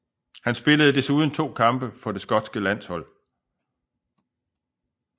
Han spillede desuden to kampe for det skotske landshold